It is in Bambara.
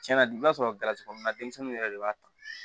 Tiɲɛna i b'a sɔrɔ galatigɛ mun na denmisɛnninw yɛrɛ de b'a ta